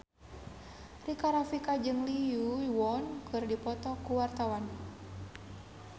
Rika Rafika jeung Lee Yo Won keur dipoto ku wartawan